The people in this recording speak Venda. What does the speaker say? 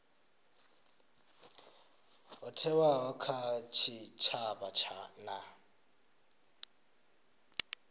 ho thewaho kha tshitshavha na